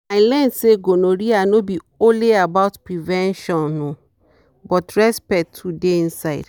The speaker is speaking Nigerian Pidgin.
i learn say gonorrhea no be only about prevention um but respect too dey inside.